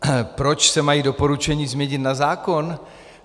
Proč se mají doporučení změnit na zákon?